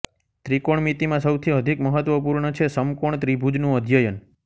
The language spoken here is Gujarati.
ત્રિકોણમિતિમાં સૌથી અધિક મહત્વપૂર્ણ છે સમકોણ ત્રિભુજનું અધ્યયન